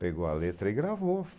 Pegou a letra e gravou.